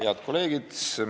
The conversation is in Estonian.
Head kolleegid!